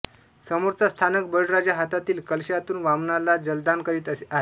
समोरचा स्थानक बळीराजा हातातील कलशातून वामनाला जलदान करीत आहे